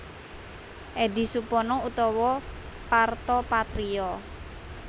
Eddy Supono utawa Parto Patrio